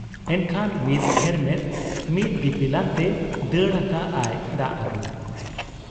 ᱮᱱᱠᱷᱟᱱ ᱢᱤᱫ ᱦᱮᱨᱢᱮᱫ ᱢᱤᱫ ᱫᱤᱯᱤᱞ ᱟᱱᱛᱮ ᱫᱟᱹᱲ ᱟᱠᱟᱜ ᱟᱭ ᱫᱟᱜ ᱟᱹᱜᱩ ᱾